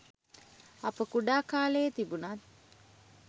අප කුඩා කාලයේ තිබුණත්